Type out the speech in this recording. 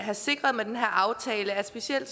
sikre med den her aftale er at specielt